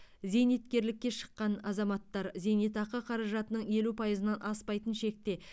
зейнеткерлікке шыққан азаматтар зейнетақы қаражатының елу пайызынан аспайтын шекте